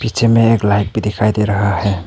जिनमें एक लाइक भी दिखाई दे रहा है।